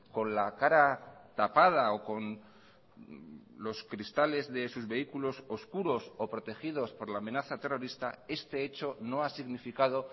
con la cara tapada o con los cristales de sus vehículos oscuros o protegidos por la amenaza terrorista este hecho no ha significado